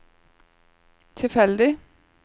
tilfeldig